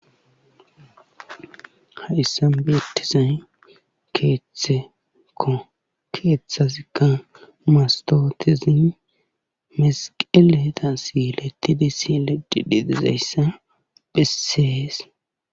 Ha issa bertizay keeththekko keeththasikka mastootesin mesiqeleeta silettide si ledi didizayssa bhesseees